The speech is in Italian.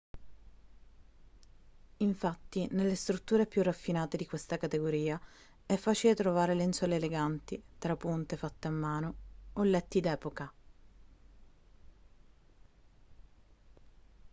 infatti nelle strutture più raffinate di questa categoria è facile trovare lenzuola eleganti trapunte fatte a mano o letti d'epoca